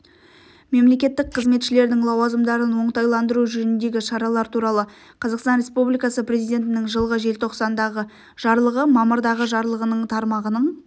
мемлекеттік қызметшілердің лауазымдарын оңтайландыру жөніндегі шаралар туралы қазақстан республикасы президентінің жылғы желтоқсандағы жарлығы мамырдағы жарлығының тармағының